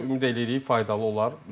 Ümid eləyirik faydalı olar.